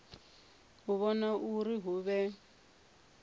u vhona uri hu vhe